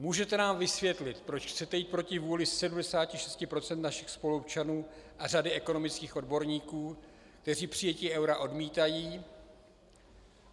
Můžete nám vysvětlit, proč chcete jít proti vůli 76 % našich spoluobčanů a řady ekonomických odborníků, kteří přijetí eura odmítají?